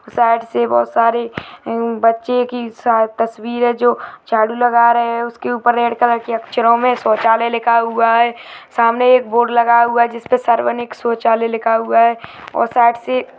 side से बहोत सारे बच्चे के साथ तस्वीरें हैं जो की झाड़ू लगा रहें हैं उसके ऊपर रेड कलर के अक्षरों में शौचालय लिखा हुआ है सामने एक बोर्ड लगा हुआ है जिसपे सार्वनिक शौचालय लिखा हुआ है और साइड से --